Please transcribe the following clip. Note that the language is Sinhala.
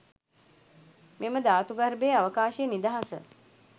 මෙම ධාතු ගර්භයේ අවකාශයේ නිදහස